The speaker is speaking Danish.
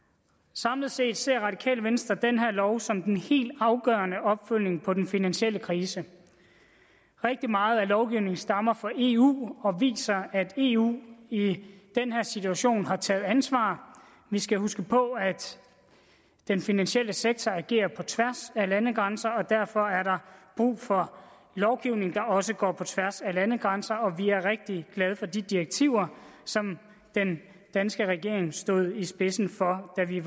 samlet set ser radikale venstre den her lov som den helt afgørende opfølgning på den finansielle krise rigtig meget af lovgivningen stammer fra eu og viser at eu i i den her situation har taget ansvar vi skal huske på at den finansielle sektor agerer på tværs af landegrænser og derfor er der brug for lovgivning der også går på tværs af landegrænser og vi er rigtig glade for de direktiver som den danske regering stod i spidsen for da vi